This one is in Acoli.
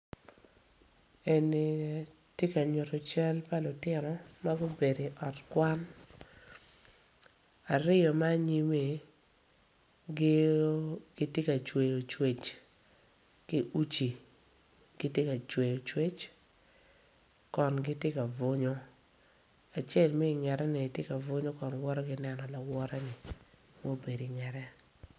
Eni ti ka nyutu cal pa lutino ma gubedo i ot kwan aryo ma anyimmi gio giti ka cweyo cwec ki uci kiti ka cweyo cwec kon giti ka bunyo acel mi ingete-ni aye tye ka bunyo kon woto ki neno lawote-ni mubedo ingete